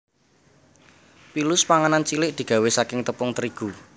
Pilus panganan cilik digawé saking tepung terigu